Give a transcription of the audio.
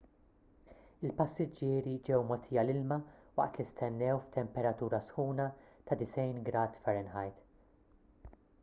il-passiġġieri ġew mogħtija l-ilma waqt li stennew f'temperatura sħuna ta’ 90 grad f